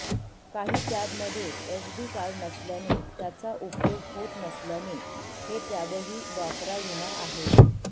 काही टॅबमध्ये SD card नसल्याने त्याचा उपयोग होत नसल्याने हे टॅबही वापराविना आहेत